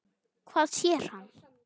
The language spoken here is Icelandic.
Hvað sér hann?